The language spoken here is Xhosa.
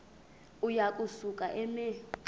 uya kusuka eme